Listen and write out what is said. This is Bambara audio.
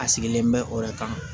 A sigilen bɛ o yɛrɛ kan